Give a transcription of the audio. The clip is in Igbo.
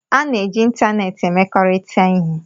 A na-eji ịntanetị emekọrịta ihe